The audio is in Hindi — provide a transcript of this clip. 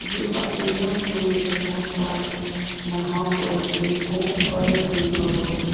ये अकेला क्यों बैठा हुआ है यहाँ पर देखो काले रंग का भालू।